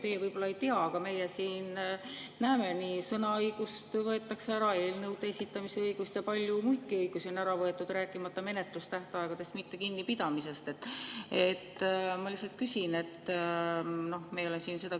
Teie võib-olla ei tea, aga meie siin näeme, kuidas sõnaõigus võetakse ära, samuti eelnõude esitamise õigus, ja palju muidki õigusi on ära võetud, rääkimata sellest, et menetlustähtaegadest ei peeta kinni.